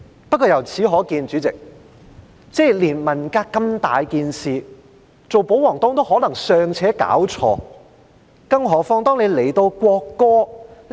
不過，由此可見，主席，連文革如此重大的事件，做保皇黨的也可能尚且弄錯，更何況國歌？